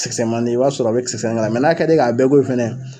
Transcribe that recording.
Kisɛ kisɛmani i b'a sɔrɔ a bɛ kisɛ nga mɛ n'a ka d'i ye k'a bɛɛ ko fɛnɛ